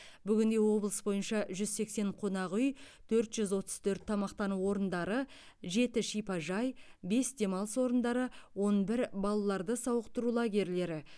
бүгінде облыс бойынша жүз сексен қонақ үй төрт жүз отыз төрт тамақтану орындары жеті шипажай бес демалыс орындары он бір балаларды сауықтыру лагерлері